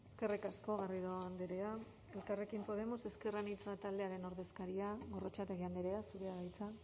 eskerrik asko garrido andrea elkarrekin podemos ezker anitza taldearen ordezkaria gorrotxategi andrea zurea da hitza